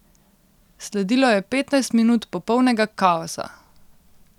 Sledilo je petnajst minut popolnega kaosa.